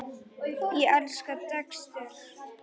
Ég elskaði Dexter.